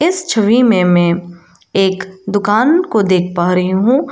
इस छवि में मैं एक दुकान को देख पा रही हूं।